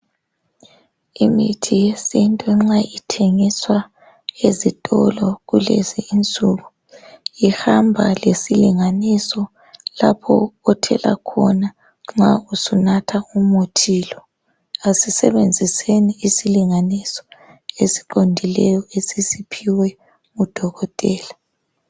Imithi yesiNtu nxa ithengiswa ezitolo kulezi insuku ihamba lesilinganiso lapho othela khona nxa sunatha umuthi lo. Asisebenziseni isilinganiso esiqondileyo esisiphiwa ngudokotela.